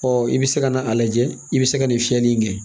Ɔ i bɛ se ka na a lajɛ i bɛ se ka nin fiyɛli in kɛ